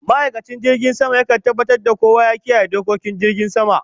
Ma'aikacin jirgin sama ya kan tabatar da kowa ya kiyaye dokokin jirgin sama